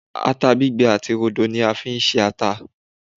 atta gbigbe ati rodo ni a fi n ṣe ata